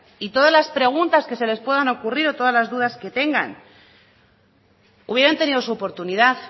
y todas las preguntas que se les puedan ocurrir o todas las dudas que tengan hubieran tenido su oportunidad